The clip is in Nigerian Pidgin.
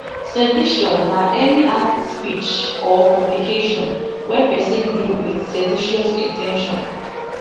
sedition na any act speech or publication wey pesin do wit seditious in ten tion